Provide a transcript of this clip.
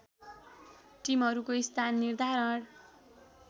टिमहरूको स्थान निर्धारण